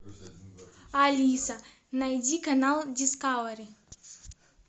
алиса найди канал дискавери